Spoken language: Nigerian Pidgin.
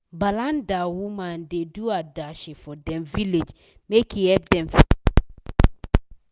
balanda women da do adashi for dem village make e help them fit save money